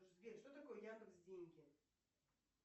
сбер что такое яндекс деньги